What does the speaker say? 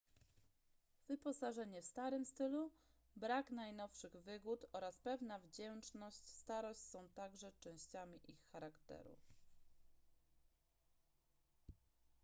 wyposażenie w starym stylu brak najnowszych wygód oraz pewna wdzięczna starość są także częściami ich charakteru